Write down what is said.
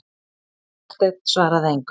Marteinn svaraði engu.